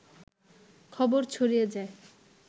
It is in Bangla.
খবর ছড়িয়ে যায়